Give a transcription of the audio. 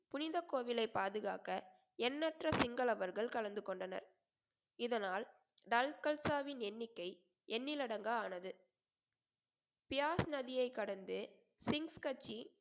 புனித கோவிலை பாதுகாக்க எண்ணற்ற சிங்களவர்கள் கலந்து கொண்டனர் இதனால் டல்கல்சாவின் எண்ணிக்கை எண்ணிலடங்கா ஆனது தியாஸ் நதியை கடந்து சிங்ஸ் கட்சி